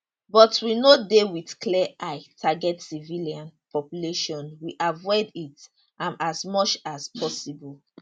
but we no dey wit clear eye target civilian population we avoid it am as much as possible